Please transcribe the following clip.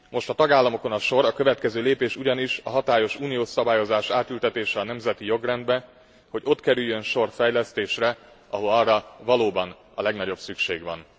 Most a tagállamokon a sor, a következő lépés ugyanis a hatályos uniós szabályozás átültetése a nemzeti jogrendbe, hogy ott kerüljön sor fejlesztésre, ahol arra valóban a legnagyobb szükség van.